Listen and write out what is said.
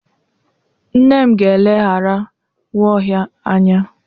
Nne m ga-eleghara Nwaohia anya.